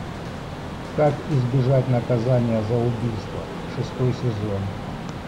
как избежать наказания за убийство шестой сезон